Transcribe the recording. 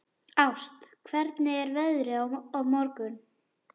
Ást, hvernig er veðrið á morgun?